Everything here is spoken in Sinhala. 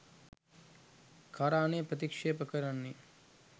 කරානය ප්‍රතික්ෂේප කරන්නේ.